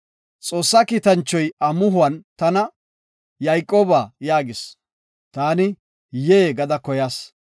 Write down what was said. Xoossa kiitanchoy amuhon tana, ‘Yayqooba’ yaagis. Taani, ‘Yee’ gada koyas.